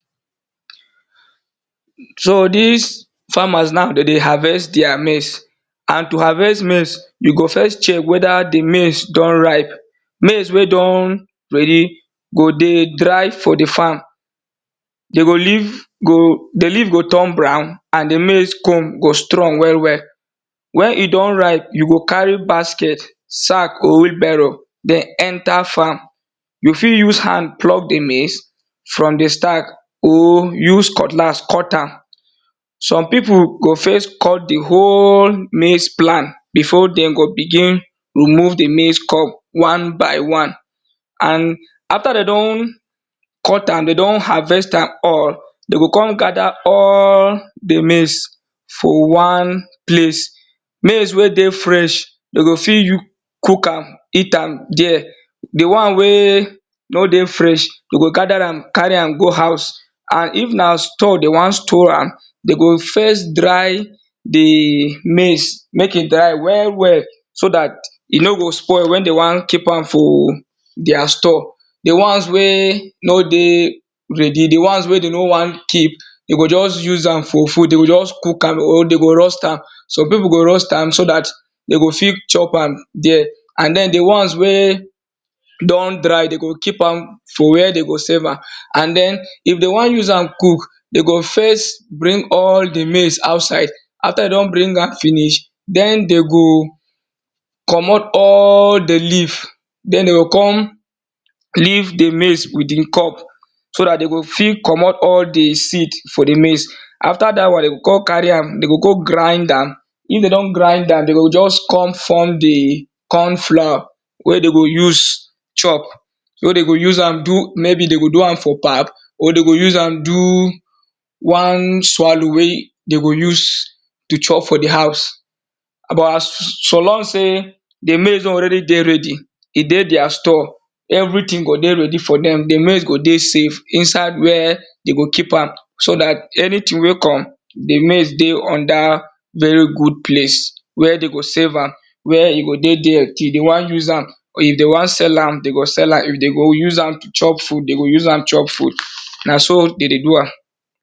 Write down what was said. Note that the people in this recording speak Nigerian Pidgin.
So dis farmers now de dey harvest their maize and to harvest maize, you go first chek weda di maize don ripe, maize wey don ready go dey dry for di farm, di leave go tuen brown and di maize cob go strong well well. Wen e don ripe, you go carry basket, den sac or wheel barrow enter farm. You fit use hand cut di maize from di stack or use cutlass cut am. Some pipu go first cut di whole maize cob before den go begin dey remove am one by one. And after de don harvest am all, de go kon gather di maize for one place maize wey dey fresh, dey go fit use cook am, eat am there. Do won wey dey fresh, de go gather ram, go house and if na stool de won stool am, de go first dey di maize mek e dey well so dat e no go spoil wen de won keep am for their store. Di wons wey no dey ready di ones wey no good, de go just use am for food, dey go just cook am, de go roast am some pipu go roast am so dat de go fit chop ama for there and di ones wey dry, de go keep am dey go won use am cook after de don bring am finish den de go commot all di leave, den de go kon leave di maize for di cob so dat de go fit commot di corn from di leave. Afta dat won, de go go grind am, if de don grind am, de go just kon form di corn floor wey de go use chop. wey de go use am do de go do am for pap or de go use am do wan swallow wey de go de chop for di house. So, ong sey di maize don already dey ready, e dey their s tore everything go dey ready for dem di maize go dey save so dat anything wey come, di maiz dey on dat very good place where de go save am where if de wa use am, de go use am, de go use to chop food, de dey use am chop food.